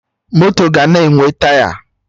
Moto ga na-enwe Taya